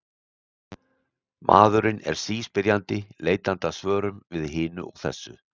Maðurinn er síspyrjandi, leitandi að svörum við hinu og þessu.